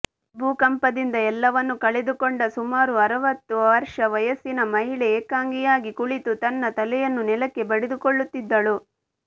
ಭೂಕಂಪದಿಂದ ಎಲ್ಲವನ್ನೂ ಕಳೆದುಕೊಂಡ ಸುಮಾರು ಅರವತ್ತು ವರ್ಷ ವಯಸ್ಸಿನ ಮಹಿಳೆ ಏಕಾಂಗಿಯಾಗಿ ಕುಳಿತು ತನ್ನ ತಲೆಯನ್ನು ನೆಲಕ್ಕೆ ಬಡಿದುಕೊಳ್ಳುತ್ತಿದ್ದಳು